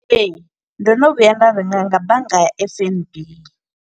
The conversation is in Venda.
Ee, ndo no vhuya nda renga nga bannga ya F_N_B.